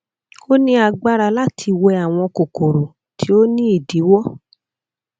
o ni agbara lati wẹ awọn kokoro ti o ni idiwọ